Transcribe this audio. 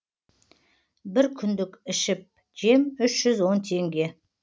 бір күндік ішіп жем үш жүз он теңге